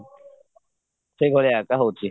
ସେଇ ଭଳିଆ ତ ହଉଚି